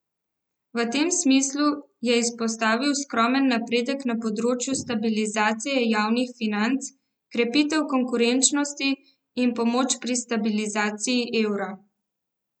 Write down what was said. V tem smislu je izpostavil skromen napredek na področju stabilizacije javnih financ, krepitev konkurenčnosti in pomoč pri stabilizaciji evra.